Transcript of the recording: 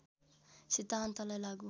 सिद्धान्तलाई लागू